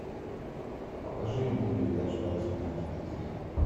покажи мне передачу радость моя на телевизоре